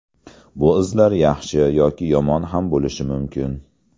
Bu izlar yaxshi yoki yomon ham bo‘lishi mumkin.